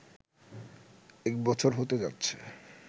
এক বছর হতে যাচ্ছে